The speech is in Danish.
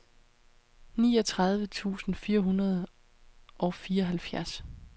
niogtredive tusind fire hundrede og fireoghalvfjerds